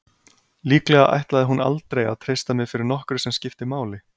Líklega ætlaði hún aldrei að treysta mér fyrir nokkru sem skipti máli.